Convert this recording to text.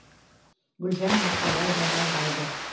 гүлжан марқабаева жалғайды